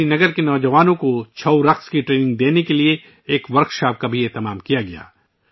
سری نگر کے نوجوانوں کو ' چھاؤ ' رقص کی تربیت دینے کے لیے ایک ورکشاپ کا بھی اہتمام کیا گیا